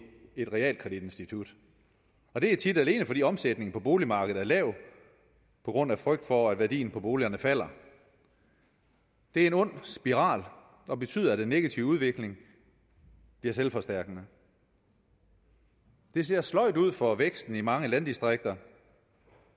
et realkreditinstitut og det er tit alene fordi omsætningen på boligmarkedet er lav på grund af frygt for at værdien på boligerne falder det er en ond spiral der betyder at den negative udvikling bliver selvforstærkende det ser sløjt ud for væksten i mange landdistrikter